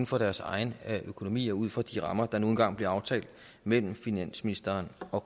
for deres egen økonomi og ud fra de rammer der nu engang bliver aftalt mellem finansministeren og